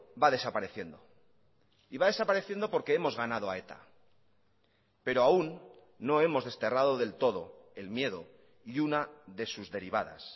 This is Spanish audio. va desapareciendo y va desapareciendo porque hemos ganado a eta pero aún no hemos desterrado del todo el miedo y una de sus derivadas